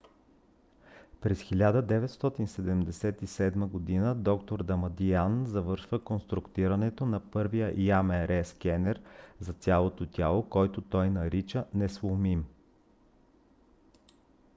през 1977 г. д-р дамадиан завършва конструирането на първия ямр скенер за цялото тяло който той нарича несломим